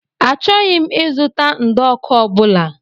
Achọghị m ịzụta ụdọọkụ ọ bụla.